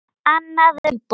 Annað umboð.